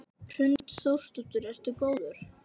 Hrund Þórsdóttir: Ertu góður?